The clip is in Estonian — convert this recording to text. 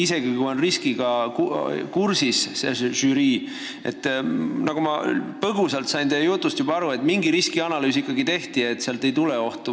Nagu ma teie jutust aru sain, žürii oli asjaga kursis ja mingi riskianalüüs ikkagi tehti, aga leiti, et sealt ei tule ohtu.